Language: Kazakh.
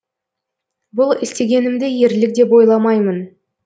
бұл істегенімді ерлік деп ойламаймын